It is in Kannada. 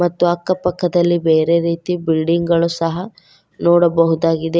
ಮತ್ತು ಅಕ್ಕ ಪಕ್ಕದಲ್ಲಿ ಬೇರೆ ರೀತಿ ಬಿಲ್ಡಿಂಗ್ ಳು ಸಹ ನೋಡಬಹುದಾಗಿದೆ.